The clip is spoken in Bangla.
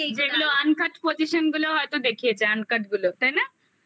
যেগুলো uncut position গুলো হয়তো দেখিয়েছে uncut গুলো তাই না?